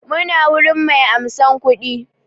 Muna wurin mai ansan kuɗi